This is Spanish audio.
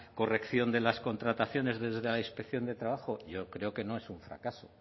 corrección de las contrataciones desde la inspección de trabajo yo creo que no es un fracaso